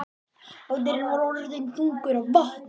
Báturinn var orðinn þungur af vatni.